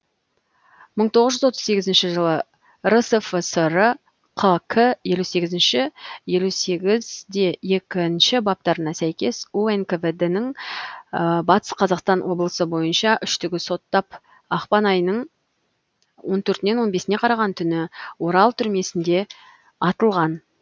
мың тоғыз жүз отыз сегізінші жылы рсфср қк елу сегізінші елу сегіз екі баптарына сәйкес унквд ның батыс қазақстан облысы бойынша үштігі соттап ақпан айының он төртінен он бесіне қараған түні орал түрмесінде атылған